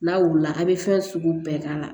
N'a wulila a bɛ fɛn sugu bɛɛ k'a la